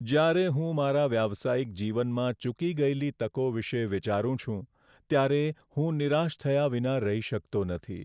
જ્યારે હું મારા વ્યાવસાયિક જીવનમાં ચૂકી ગયેલી તકો વિશે વિચારું છું ત્યારે હું નિરાશ થયા વિના રહી શકતો નથી.